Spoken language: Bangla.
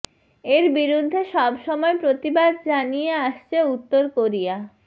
এর বিরুদ্ধে সবসময় প্রতিবাদ জানিয়ে আসছে উত্তর কোরিয়া